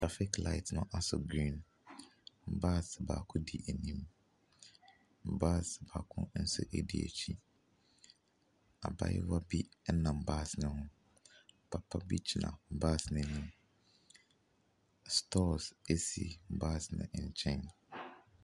Trafik laet no asɔ griin, baas baako di anim, baas baako nso ɛdi akyire. Abaayewa bi ɛnam baas neho, papabi gyina baas no anim, stɔɔs ɛsi baas no nkyɛn.